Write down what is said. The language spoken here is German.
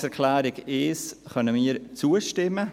Der Planungserklärung 1 können wir zustimmen;